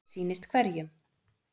Sitt sýnist hverjum.